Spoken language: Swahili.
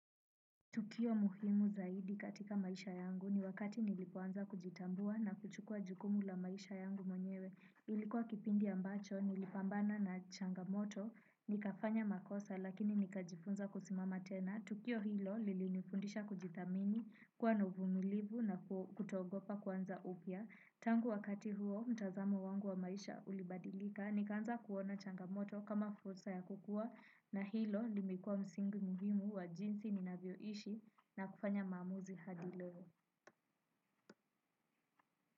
Tukio muhimu zaidi katika maisha yangu ni wakati nilipoanza kujitambua na kuchukua jukumu la maisha yangu mwenyewe. Ilikuwa kipindi ambacho nilipambana na changamoto nikafanya makosa lakini nikajifunza kusimama tena. Tukio hilo lilinifundisha kujithamini kuwa na uvumilivu na kutoogopa kuanza upya. Tangu wakati huo mtazamo wangu wa maisha ulibadilika. Nikaanza kuona changamoto kama fursa ya kukua. Na hilo limekuwa msingi muhimu wa jinsi nina vyoishi na kufanya maamuzi hadi leo.